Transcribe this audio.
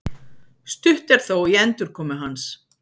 Stutt er þó í endurkomu hans